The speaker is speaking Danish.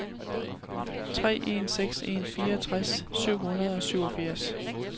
tre en seks en fireogtres syv hundrede og syvogfirs